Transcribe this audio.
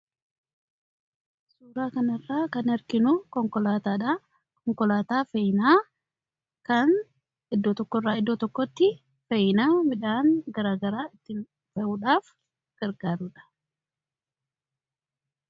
Suuraa kanaa gadii irratti kan argamu Konkolaataa dha. Konkolaataan kunis kan fe'iinsa garaa gariif bakka tokkoo gara bakka biratti geessuuf kan fayyaduu dha.